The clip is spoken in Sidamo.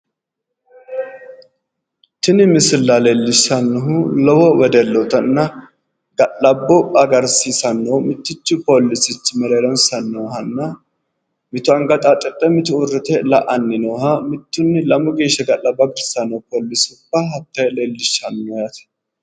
tini misilla leellishshannohu lowo wedellootanna ga'labbo agarisiisanno mittichu poolichi mereeronsa noohanna mitu anga xaaxidhe mitu uurrite la'anni nooha mittunni lamu geeshshi ga'labbo agarsiissanno poolisubba hattte leellishshanno yaate.